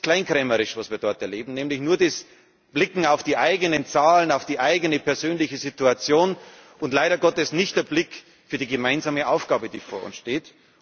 Es ist kleinkrämerisch, was wir dort erleben, nämlich nur das Blicken auf die eigenen Zahlen, auf die eigene persönliche Situation, und leider Gottes kein Blick für die gemeinsame Aufgabe, die vor uns steht.